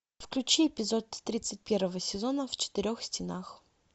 включи эпизод тридцать первого сезона в четырех стенах